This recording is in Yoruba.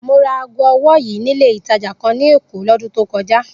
Mo ra aago ọwọ́ yìí nílé ìtajà kan ní Èkó lọ́dún tó kọjá